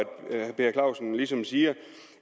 herre per clausen ligesom siger